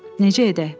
Necə edək?